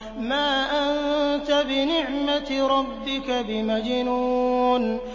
مَا أَنتَ بِنِعْمَةِ رَبِّكَ بِمَجْنُونٍ